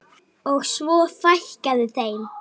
Og svo fækkaði þeim.